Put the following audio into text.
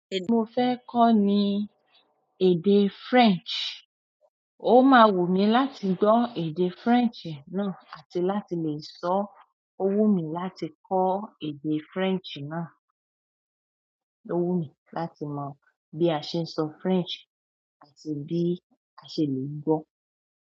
Èdè mo fẹ́ kọ́ ni èdè French. Ó máa wù mí láti gbọ́ èdè French náà àti láti lè sọ. Ó wù mí láti kọ́ èdè French náà. Ó wù mí láti mọ bí a ṣe ń sọ French àti bí a ṣe lè gbó.